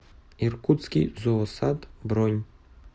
иркутский зоосад бронь